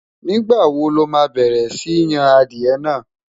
nígbà wò loma bẹrẹ Si Yàn adìe nà?